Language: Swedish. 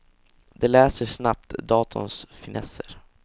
De lär sig snabbt datorns finesser.